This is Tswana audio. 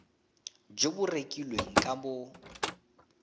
jo bo rekilweng ka bo